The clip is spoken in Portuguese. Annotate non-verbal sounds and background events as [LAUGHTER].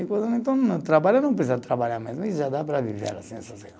[UNINTELLIGIBLE] Então, trabalha, não precisa trabalhar mesmo, e já dá para viver assim, [UNINTELLIGIBLE]